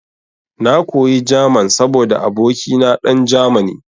Na koyi German saboda abokina dan Germany.